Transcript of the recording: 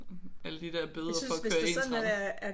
Alle de der bøder for at køre ensrettet